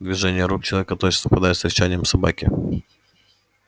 движения рук человека точно совпадали с рычанием собаки